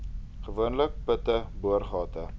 gewoonlik putte boorgate